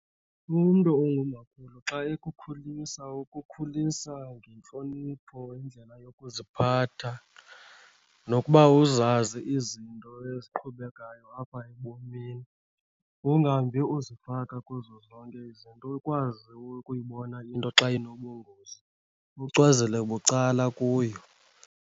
Umntu ongumakhulu xa ekukhulisa ukukhulisa ngentlonipho, indlela yokuziphatha nokuba uzazi izinto eziqhubekayo apha ebomini. Ungahambi uzifaka kuzo zonke izinto, ukwazi ukuyibona into xa inobungozi ucwezela bucala kuyo.